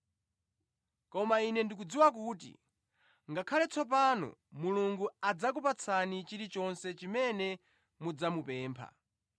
Koma ine ndikudziwa kuti ngakhale tsopano Mulungu adzakupatsani chilichonse chimene mudzamupempha.”